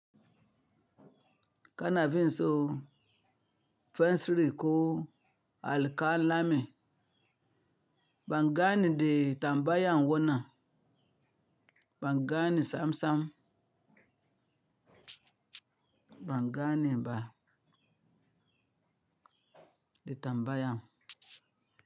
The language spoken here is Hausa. Kana finso fensiri ko alƙalami, bangane mai tambayan wannan, bangane sam-sam, bangane ba, da tambayan.